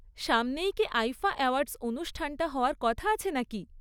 সামনেই কি IIFA awards অনুষ্ঠানটা হওয়ার কথা আছে নাকি?